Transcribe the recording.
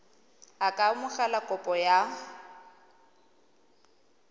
a ka amogela kopo ya